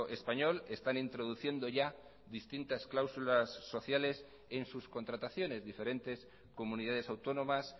español están introduciendo ya distintas cláusulas sociales en sus contrataciones diferentes comunidades autónomas